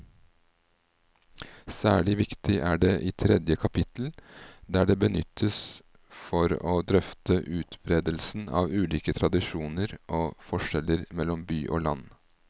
Særlig viktig er det i tredje kapittel, der det benyttes for å drøfte utbredelsen av ulike tradisjoner og forskjeller mellom by og land.